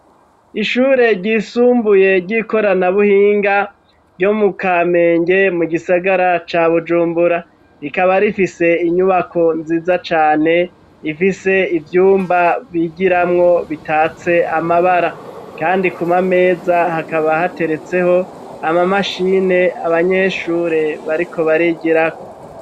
Ishure ryisumbuye ry'ikoranabuhinga ryo mu kamenge mu gisagara ca bujumbura rikaba rifise inyubako nziza cane ifise ivyumba bigiramwo bitatse amabara kandi ku mameza hakaba hateretseho amamashine abanyeshure bariko barigirako.